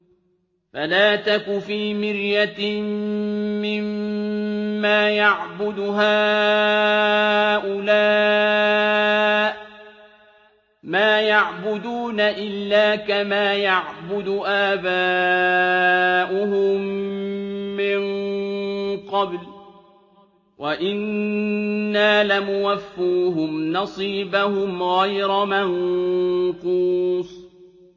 فَلَا تَكُ فِي مِرْيَةٍ مِّمَّا يَعْبُدُ هَٰؤُلَاءِ ۚ مَا يَعْبُدُونَ إِلَّا كَمَا يَعْبُدُ آبَاؤُهُم مِّن قَبْلُ ۚ وَإِنَّا لَمُوَفُّوهُمْ نَصِيبَهُمْ غَيْرَ مَنقُوصٍ